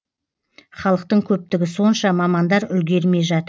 халықтың көптігі сонша мамандар үлгермей жатыр